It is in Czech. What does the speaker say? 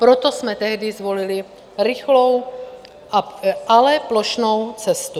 Proto jsme tehdy zvolili rychlou, ale plošnou cestu.